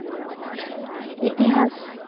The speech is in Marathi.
इतिहास